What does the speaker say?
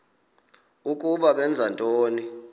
ukuba benza ntoni